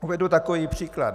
Uvedu takový příklad.